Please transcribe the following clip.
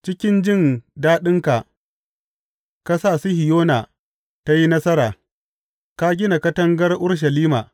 Cikin jin daɗinka ka sa Sihiyona ta yi nasara; ka gina katangar Urushalima.